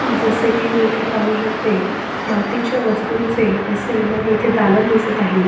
जस की मी इथे पाहू शकते मातीच्या वस्तूंचे असे मला इथे दालन दिसत आहे.